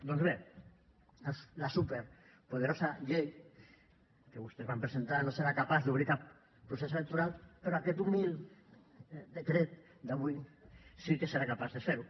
doncs bé la superpoderosa llei que vostès van presentar no serà capaç d’obrir cap procés electoral però aquest humil decret d’avui sí que serà capaç de fer ho